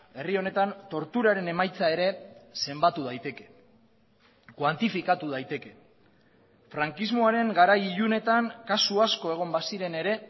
herri honetan torturaren emaitza ere zenbatu daiteke kuantifikatu daiteke frankismoaren garai ilunetan kasu asko egon baziren ere